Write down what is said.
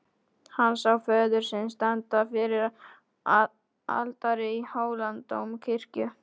Hann sá föður sinn standa fyrir altari í Hóladómkirkju.